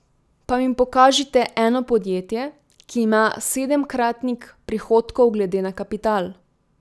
Pa mi pokažite eno podjetje, ki ima sedemkratnik prihodkov glede na kapital.